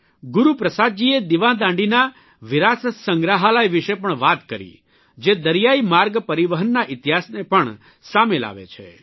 ગુરૂપ્રસાદજીએ દિવાદાંડીના વિરાસત સંગ્રહાલય વિષે પણ વાત કરી જે દરિયાઇ માર્ગ પરિવહનના ઇતિહાસને પણ સામે લાવે છે